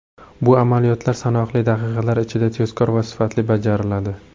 Bu amaliyotlar sanoqli daqiqalar ichida, tezkor va sifatli bajariladi.